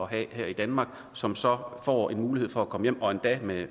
have her i danmark som så får en mulighed for at komme hjem og endda med